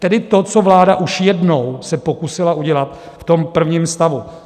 Tedy to, co vláda už jednou se pokusila udělat v tom prvním stavu.